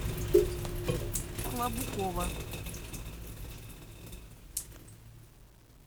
клабукова